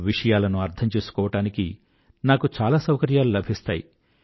విషయాలను అర్థం చేసుకోవడానికి నాకు చాలా సౌకర్యాలు లభిస్తాయి